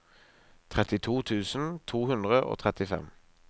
trettito tusen to hundre og trettifem